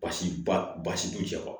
Baasi basi bɛ cɛ kɔ